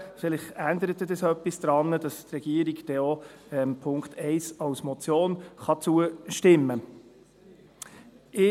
Vielleicht führt dies dazu, dass die Regierung auch dem Punkt 1 als Motion zustimmen kann.